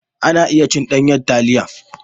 Ana iya cin ɗanyar taliya.